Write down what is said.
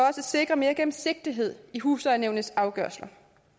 at sikre mere gennemsigtighed i huslejenævnets afgørelser